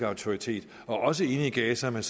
autoritet også inde i gaza men